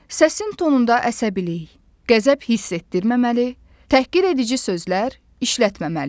Səsin tonunda əsəbilik, qəzəb hiss etdirməməli, təhqir edici sözlər işlətməməli.